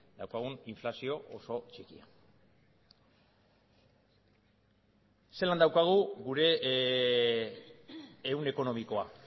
daukagun inflazio oso txikia zelan daukagu gure ehun ekonomikoa